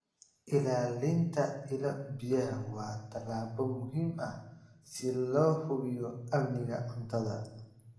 Ilaalinta ilo-biyaha waa tallaabo muhiim ah si loo hubiyo amniga cuntada.